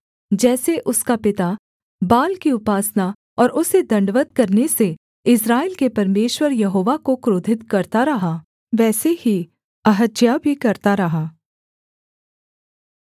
जैसे उसका पिता बाल की उपासना और उसे दण्डवत् करने से इस्राएल के परमेश्वर यहोवा को क्रोधित करता रहा वैसे ही अहज्याह भी करता रहा